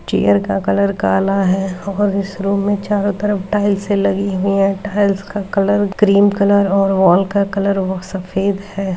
Chair का colour काला है और इस रूम में चारों तरफ टाइल्स लगी हुई हैं टाइल्स का कलर ग्रीन कलर और वॉल का कलर व सफेद है।